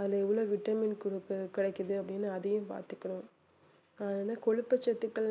அதுல எவ்ளோ vitamin கிடைக்குது அப்படின்னு அதையும் பாத்துக்கணும் அந்த மாதிரி கொழுப்பு சத்துக்கள்